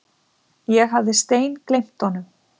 Ég hafði steingleymt honum.